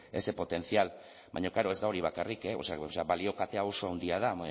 ese potencial baina klaro ez da hori bakarrik o sea balio kate hau oso handia da